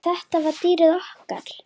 En þetta var dýrið okkar.